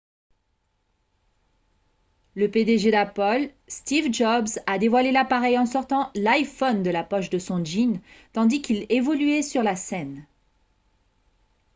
le pdg d'apple steve jobs a dévoilé l'appareil en sortant l'iphone de la poche de son jean tandis qu'il évoluait sur la scène